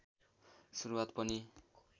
सुरुवात पनि